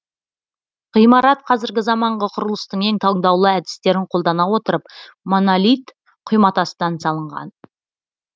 ғимарат қазіргі заманғы құрылыстың ең таңдаулы әдістерін қолдана отырып монолит құйматастан салынған